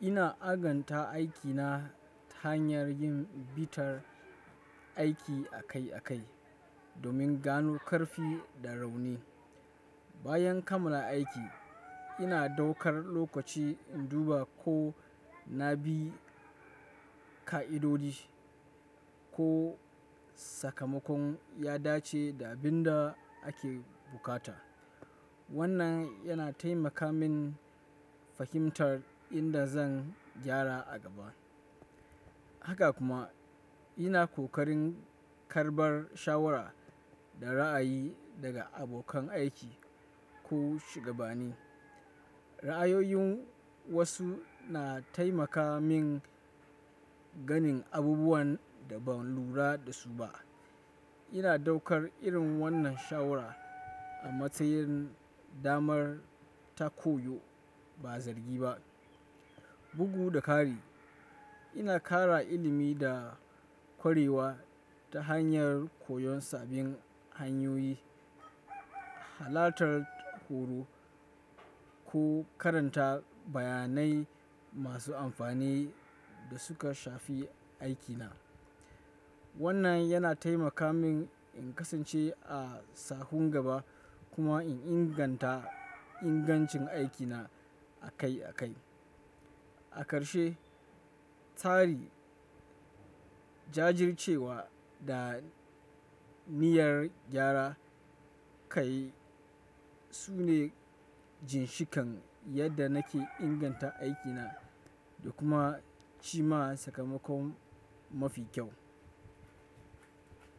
Ina aganta aikina ta hanyar yin bitar aiki akai akai domin gano karfi da rauni. Bayan kamuna aiki, ina ɗaukar lokaci in duba ko na bi ka'idodi, ko sakamakon ya dace da abin da ake bukata. Wannan yana taimaka min fahimtar inda zan gyara a gaba. Haka kuma, ina kokarin karbar shawara da ra'ayi daga abokan aiki ko shugabani. Ra'ayoyin wasu na taimaka min ganin abubuwan da ban lura da su ba. Ina ɗaukar irin wannan shawara a matsayin damar ta koyo ba zargi ba. Bugu da kari, ina ƙara ilimi da ƙwarewa ta hanyar koyon sabbin hanyoyi, halartar taro ko karanta bayanai masu amfani da suka shafi aikina. Wannan yana taimaka min in kasance a sahun gaba kuma in inganta ingancin aikina akai akai. A karshe, tsari, jajircewa da niyyar gyara kai sune ginshikan yadda nake inganta aikina da kuma ci ma sakamakon mafi kyau.